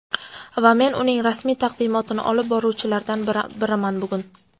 Va men uning rasmiy taqdimotini olib boruvchilaridan biriman bugun.